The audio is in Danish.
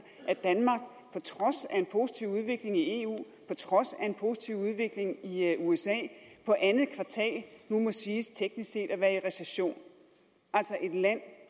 at trods af en positiv udvikling i eu på trods af en positiv udvikling i usa på andet kvartal nu må siges teknisk set at være i recession altså et land